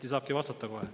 Anti saabki vastata kohe.